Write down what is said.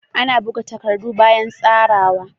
Ana buga takardu bayan tsarawa.